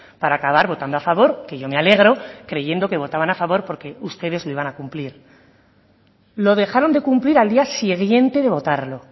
para acabar votando a favor que yo me alegro creyendo que votaban a favor porque ustedes no iban a cumplir lo dejaron de cumplir al día siguiente de votarlo